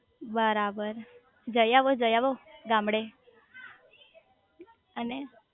બરાબર જઇઆવો જઇઆવો ગામડે અને